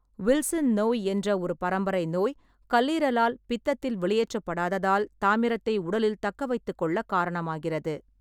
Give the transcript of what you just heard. Wilson நோய் என்ற ஒரு பரம்பரை நோய் கல்லீரலால் பித்தத்தில் வெளியேற்றப்படாததால் தாமிரத்தை உடலில் தக்கவைத்துக்கொள்ளக் காரணமாகிறது.